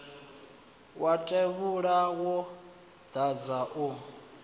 wa tevhula wo dadza u